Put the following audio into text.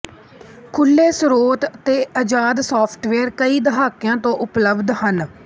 ਖੁਲ੍ਹੇ ਸਰੋਤ ਅਤੇ ਅਜ਼ਾਦ ਸਾਫ਼ਟਵੇਅਰ ਕਈ ਦਹਾਕਿਆਂ ਤੋਂ ਉਪਲਬਧ ਹਨ